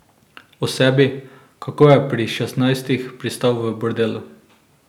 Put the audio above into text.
O sebi, kako je pri šestnajstih pristal v bordelu.